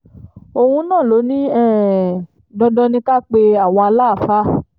òun náà ló ní um dandan ni ká pe àwọn aláàfáà